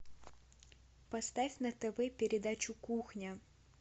поставь на тв передачу кухня